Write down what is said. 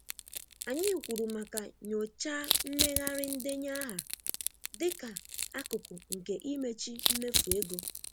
Anyị kwuru maka nyochaa mmeghari ndenye aha dịka akụkụ nke imechi mmefu ego.